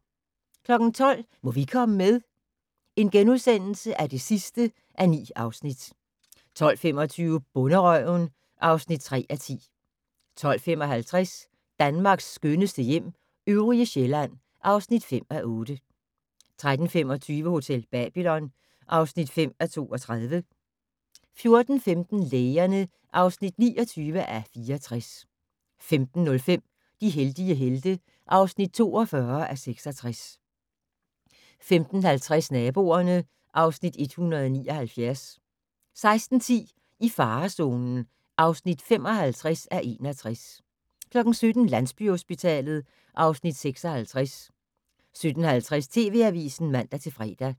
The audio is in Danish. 12:00: Må vi komme med? (9:9)* 12:25: Bonderøven (3:10) 12:55: Danmarks skønneste hjem - øvrige Sjælland (5:8) 13:25: Hotel Babylon (5:32) 14:15: Lægerne (29:64) 15:05: De heldige helte (42:66) 15:50: Naboerne (Afs. 179) 16:10: I farezonen (55:61) 17:00: Landsbyhospitalet (Afs. 56) 17:50: TV Avisen (man-fre)